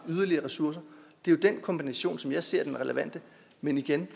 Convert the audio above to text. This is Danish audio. yderligere ressourcer er jo den kombination som jeg ser som den relevante men igen